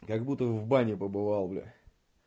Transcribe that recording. как будто в бане побывал бля